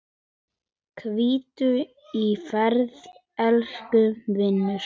Hvíldu í friði, elsku vinur.